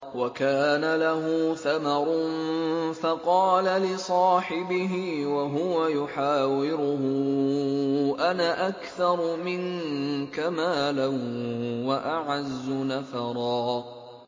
وَكَانَ لَهُ ثَمَرٌ فَقَالَ لِصَاحِبِهِ وَهُوَ يُحَاوِرُهُ أَنَا أَكْثَرُ مِنكَ مَالًا وَأَعَزُّ نَفَرًا